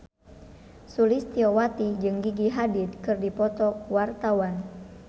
Sulistyowati jeung Gigi Hadid keur dipoto ku wartawan